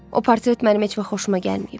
O portret mənim heç vaxt xoşuma gəlməyib.